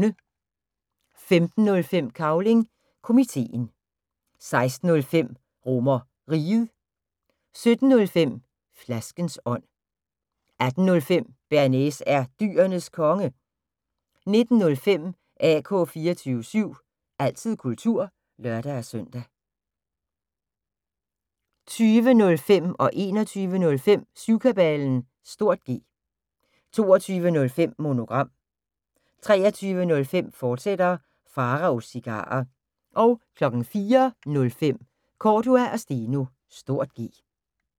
15:05: Cavling Komiteen 16:05: RomerRiget 17:05: Flaskens ånd 18:05: Bearnaise er Dyrenes Konge 19:05: AK 24syv – altid kultur (lør-søn) 20:05: Syvkabalen (G) 21:05: Syvkabalen (G) 22:05: Monogram 23:05: Pharaos Cigarer, fortsat 04:05: Cordua & Steno (G)